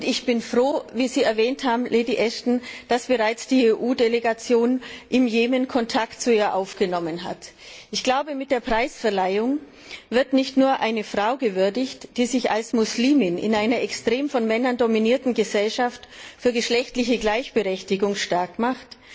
Ich bin froh wie Sie erwähnt haben, Lady Ashton dass bereits die EU Delegation im Jemen Kontakt zu ihr aufgenommen hat. Mit der Preisverleihung wird nicht nur eine Frau gewürdigt, die sich als Muslimin in einer extrem von Männern dominierten Gesellschaft für geschlechtliche Gleichberechtigung stark macht.